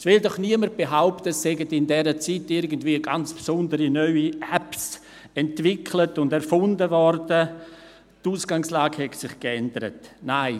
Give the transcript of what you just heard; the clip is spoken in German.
Es will doch niemand behaupten, dass in diesen zwei Jahren irgendwelche ganz besonderen neuen Apps entwickelt und erfunden wurden und sich die Ausgangslage verändert hat.